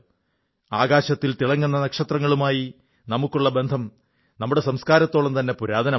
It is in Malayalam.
ആകാശത്തിൽ തിളങ്ങുന്ന നക്ഷത്രങ്ങളുമായി നമുക്കുള്ള ബന്ധം നമ്മുടെ സംസ്കാരത്തോളം തന്നെ പുരാതനമാണ്